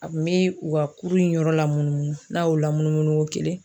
A kun be u ka kuru in yɔrɔ lamunumunu, n'a y'o lamunumunu ŋo kelen